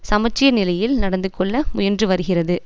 சமச்சீர் நிலையில் நடந்து கொள்ள முயன்று வருகிறது